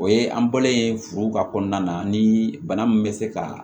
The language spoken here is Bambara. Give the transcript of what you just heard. O ye an bɔlen furu ka kɔnɔna na ni bana min bɛ se ka